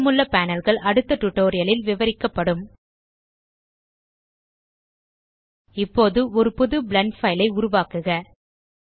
மீதமுள்ள panelகள் அடுத்த டியூட்டோரியல் ல் விவரிக்கப்படும் இப்போது ஒரு புது பிளெண்ட் பைல் ஐ உருவாக்குக